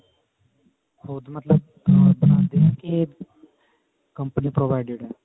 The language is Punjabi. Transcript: ਖੁਦ ਮਤਲਬ ਬਣਾਉਂਦੇ ਏ ਕੇ company provided ਹੈ